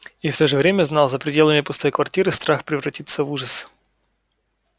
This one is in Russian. и в то же время знал за пределами пустой квартиры страх превратится в ужас